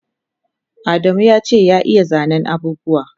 Adamu yace ya iya zanen abubuwa